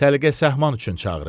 Səliqə-səhman üçün çağırıb.